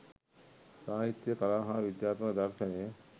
සාහිත්‍යය කලා හා විදාත්මක දර්ශනය